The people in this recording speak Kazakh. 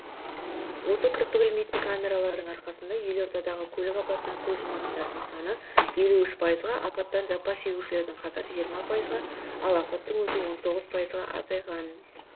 осы кірпік ілмейтін камералардың арқасында елордадағы көлік апатынан көз жұматындардың саны елу үш пайызға апаттан жапа шегушілердің қатары жиырмапайызға ал апаттың өзі он тоғыз пайызға азайған